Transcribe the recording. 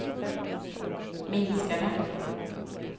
minskade